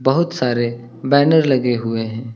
बहुत सारे बैनर लगे हुए हैं।